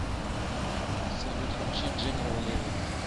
салют включи дженерал леви